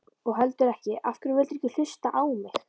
og heldur ekki: Af hverju vildirðu ekki hlusta á mig?